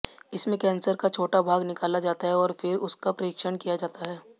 इसमें कैंसर का छोटा भाग निकाला जाता है और फिर उसका परीक्षण किया जाता है